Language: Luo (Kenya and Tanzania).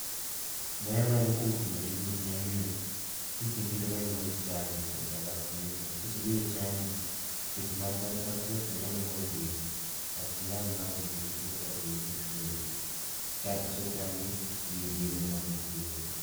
ber mayudo kuom timo tjini en ni kisebiro ma iluong'o ni chanjo is avacination kisebiro ochanji to tuoche to tuoche mathindo thindo manyalo gore e dendi ok nyal donjo nikech yudo ka dendo osechanji gi yedhe mowinjore.